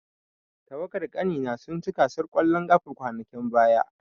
Tawagar ƙanina sun ci gasar ƙwallon ƙafa kwanakin baya.